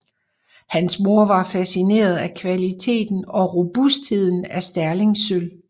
Hans mor var facineret af kvaliteten og robustheden af Sterlingsølv